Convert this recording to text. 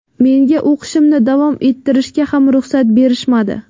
Menga o‘qishimni davom ettirishga ham ruxsat berishmadi.